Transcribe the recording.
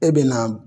E bɛ na